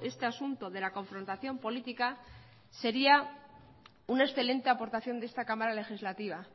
este asunto de la confrontación política sería una excelente aportación de esta cámara legislativa